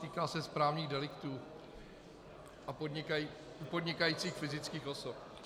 Týká se správních deliktů a podnikajících fyzických osob.